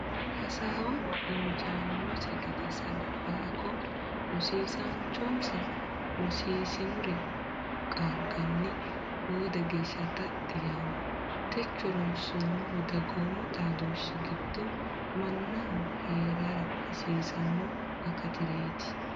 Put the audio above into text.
Hasaawaho injaannose gede Salfaaqo: (Rosiisaanchonsa rosiissinore qaaganni boode geeshsha taxxi yaanno Techo ronsoommohu dagoomu xaadooshshi giddo mannaho hee’rara hasiisanno akatireeti.